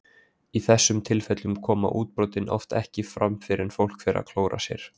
Í þessum tilfellum koma útbrotin oft ekki fram fyrr en fólk fer að klóra sér.